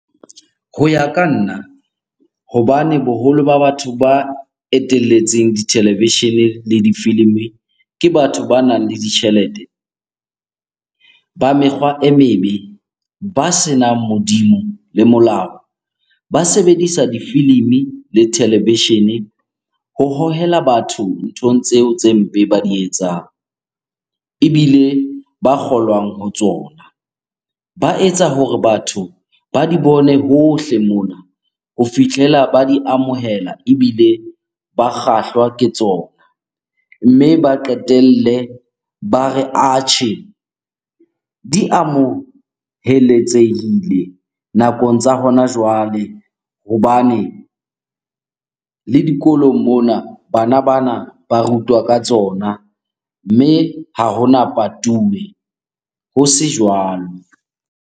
Ho ya ka nna hobane boholo ba batho ba etelletseng dithelevishene le difilimi, ke batho banang le ditjhelete, ba mekgwa e mebe, ba senang Modimo le molao. Ba sebedisa difilimi le televishene ho hohela batho nthong tseo tse mpe ba di etsang, ebile ba kgolwang ho tsona. Ba etsa hore batho ba di bone hohle mona ho fihlela ba di amohela ebile ba kgahlwa ke tsona. Mme ba qetelle ba re atjhe, di amoheletsehile nakong tsa hona jwale hobane le dikolong mona bana bana ba rutwa ka tsona. Mme ha hona patuwe, ho se jwalo.